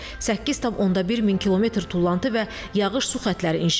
8.1 min kilometr tullantı və yağış su xətləri inşa edilib.